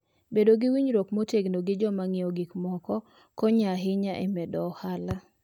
Bedo gi winjruok motegno gi joma ng'iewo gik moko konyo ahinya e medo ohala.